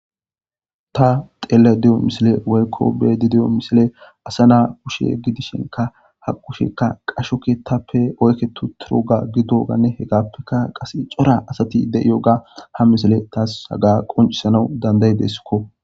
Ta xeelaydde diyo misile woykko be7aydde diyo misile asa na kushe gidishinkka ha kusheeka qasho keeththape oyqqeti uttidoga gidoganne hegappeka qassi cora asati de7iyoga ha misile haga tas qonccisanas dandayideeskko.